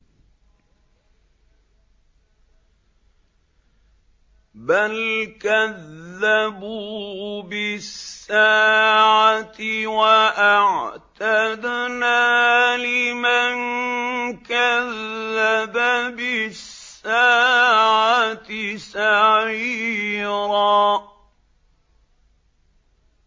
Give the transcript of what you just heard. بَلْ كَذَّبُوا بِالسَّاعَةِ ۖ وَأَعْتَدْنَا لِمَن كَذَّبَ بِالسَّاعَةِ سَعِيرًا